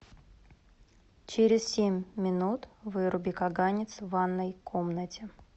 через семь минут выруби каганец в ванной комнате